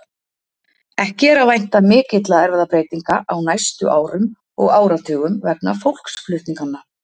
Ekki er að vænta mikilla erfðabreytinga á næstu árum og áratugum vegna fólksflutninganna.